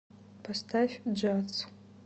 поставь джаз